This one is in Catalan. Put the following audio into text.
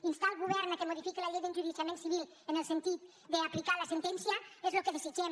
instar el govern perquè modifiqui la llei d’enjudiciament civil en el sentit d’aplicar la sentència és el que desitgem